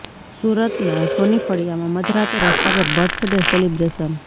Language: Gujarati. સુરતના સોની ફળિયામાં મધરાતે રસ્તા પર બર્થડે સેલિબ્રેશન